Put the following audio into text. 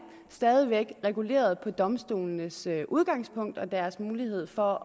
stadig væk reguleret på domstolenes udgangspunkt og deres mulighed for